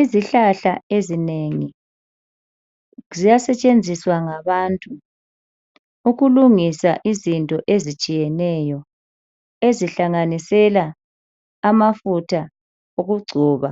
Izihlahla ezinengi ziyasetshenziswa ngabantu ukulungisa izinto ezitshiyeneyo ezihlanganisela amafutha okugcoba,